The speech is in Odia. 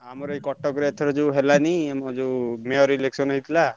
ଆମର ଏଇ କଟକରେ ଏଥର ଯୋଉ ହେଲାଣି ଆମର ଯୋଉ Mayor election ହେଇଥିଲା।